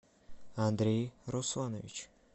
андрей русланович